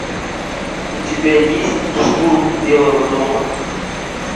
у тебя есть штурм белого дома